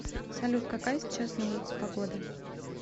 салют какая сейчас на улице погода